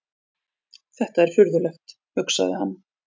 Þetta er furðulegt, hugsaði hann.